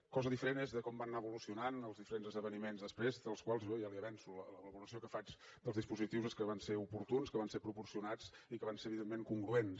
cosa diferent és com van anar evolucionant els diferents esdeveniments després dels quals jo ja li avanço la valoració que faig dels dispositius és que van ser oportuns que van ser proporcionats i que van ser evidentment congruents